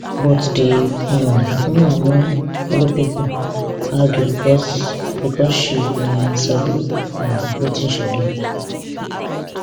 but di woman no follow pipo argue becos becos she um sabi um wetin she do